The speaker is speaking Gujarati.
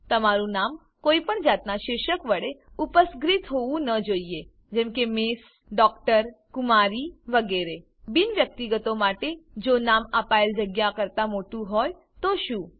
તમારું નામ કોઈપણ જાતનાં શીર્ષક વડે ઉપસર્ગીત હોવું ન જોઈએ જેમ કે mએસ ડીઆર કુમારી વગેરે બિન વ્યક્તિગતો માટે જો નામ આપેલ જગ્યા કરતા મોટું હોય તો શું